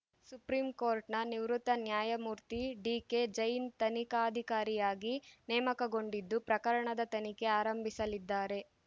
supreme ಕೋರ್ಟ್‌ನ ನಿವೃತ್ತ ನ್ಯಾಯಮೂರ್ತಿ ಡಿಕೆಜೈನ್‌ ತನಿಖಾಧಿಕಾರಿಯಾಗಿ ನೇಮಕಗೊಂಡಿದ್ದು ಪ್ರಕರಣದ ತನಿಖೆ ಆರಂಭಿಸಲಿದ್ದಾರೆ